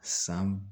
San